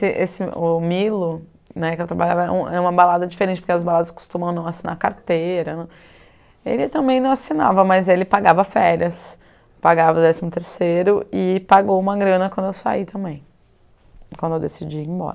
ter esse, o Milo né, que eu trabalhava em uma balada diferente, porque as baladas costumam não assinar carteira, ele também não assinava, mas ele pagava férias, pagava o décimo terceiro e pagou uma grana quando eu saí também, quando eu decidi ir embora.